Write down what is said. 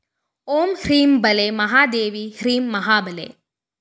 ഓം ഹ്രീം ബാലെ മഹാദേവി ഹ്രീം മഹാബലേ